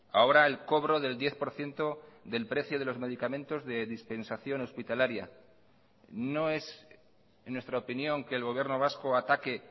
ahora el cobro del diez por ciento del precio de los medicamentos de dispensación hospitalaria no es en nuestra opinión que el gobierno vasco ataque